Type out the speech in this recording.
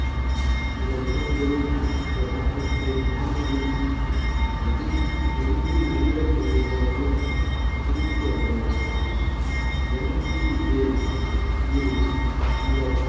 சில இடங்களில் ஒரு ஆட்டத்தை நான்கு பதி இரண்டு நிமிடப் பகுதிகளாகவும் பிரித்து ஆடுவதுண்டு NPA இல் இந்த